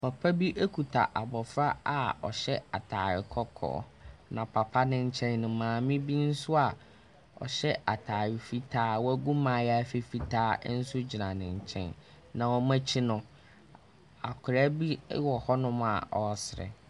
Papa bi kuta abɔfra a ɔhyɛ atare kɔkɔɔ, na papa no nkyɛn no, maame bi nso a ɔhyɛ atare fitaa, wagu mmaayaafi fitaa nso gyina ne nkyɛn, na wɔn akyi no, akwadaa bi wɔ hɔnom a ɔresere.